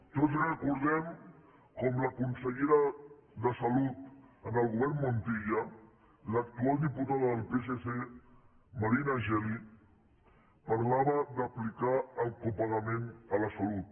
tots recordem com la consellera de salut en el govern montilla l’actual diputada del psc marina geli parlava d’aplicar el copagament a la salut